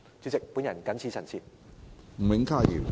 主席，我謹此陳辭。